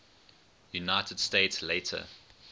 united states later